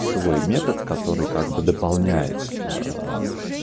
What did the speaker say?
свой метод который как бы дополняет